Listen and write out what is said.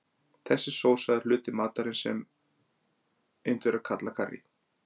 Þessi sósa er sá hluti matarins sem Indverjar kalla karrí.